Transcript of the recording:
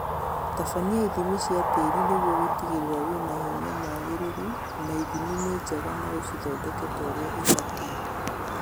Tabania ithimi cia tĩri nĩguo gũtigĩrĩra wĩna hinya mwagĩrĩru na ithimi ni njega na ũcithondeke torĩa ibatie